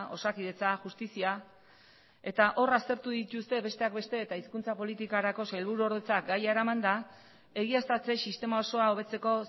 osakidetza justizia eta hor aztertu dituzte besteak beste eta hizkuntza politikarako sailburuordetzak gaia eramanda egiaztatze sistema osoa hobetzeko